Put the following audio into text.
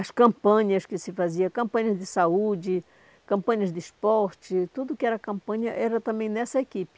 As campanhas que se faziam, campanhas de saúde, campanhas de esporte, tudo que era campanha era também nessa equipe.